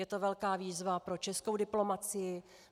Je to velká výzva pro českou diplomacii.